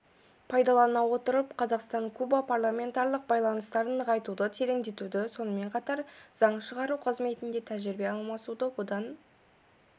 пайдалана отырып қазақстан-куба парламентаралық байланыстарын нығайтуды тереңдету сонымен қатар заң шығару қызметінде тәжірибе алмасуды одан